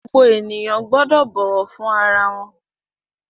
Gbogbo ènìyàn gbọ́dọ̀ bọ̀wọ̀ fún ara wọn!